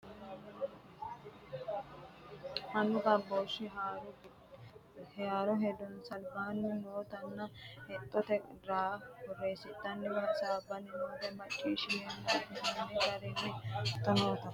Mannu gamboshu hari giddo harunsanni noori nooha lawano hedonsa alba qolle asse tuge noo gari albaani hige bare hasaawutta fane noo manchi mannuwi macciishshame afirino gari dhagge ikkinoe, togo mannu maccishshanna hara coyra ayirrinyeho.